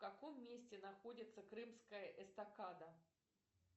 в каком месте находится крымская эстакада